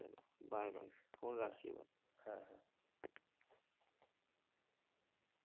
Bye bye phone রাখছি এবার।